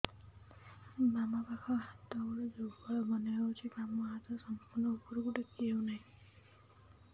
ବାମ ପାଖ ହାତ ଗୋଡ ଦୁର୍ବଳ ମନେ ହଉଛି ବାମ ହାତ ସମ୍ପୂର୍ଣ ଉପରକୁ ଟେକି ହଉ ନାହିଁ